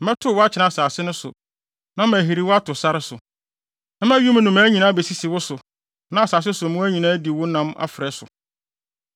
Mɛtow wo akyene asase no so na mahiri wo ato sare so. Mɛma wim nnomaa nyinaa abesisi wo so na asase so mmoa nyinaa adi wo nam afrɛ so.